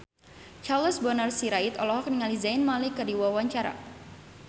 Charles Bonar Sirait olohok ningali Zayn Malik keur diwawancara